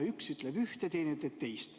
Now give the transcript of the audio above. Üks ütleb üht, teine ütleb teist.